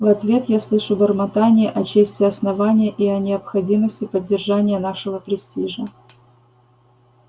в ответ я слышу бормотание о чести основания и о необходимости поддержания нашего престижа